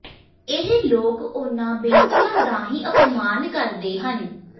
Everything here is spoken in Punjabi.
ਇਹ ਲੋਕ ਉਨ੍ਹਾਂ ਬੇਟੀਆਂ ਦਾ ਹੀ ਅਪਮਾਨ ਕਰਦੇ ਹਨ